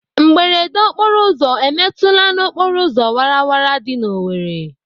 Mberede okporoụzọ emetụla n'okporoụzọ wara wara dị n'Owerri?